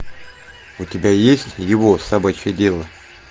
у тебя есть его собачье дело